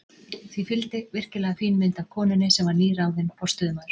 Því fylgdi virkilega fín mynd af konunni, sem var nýráðinn forstöðumaður